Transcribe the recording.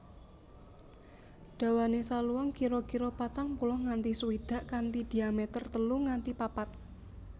Dawane saluang kira kira patang puluh nganti swidak kanthi diameter telu nganti papat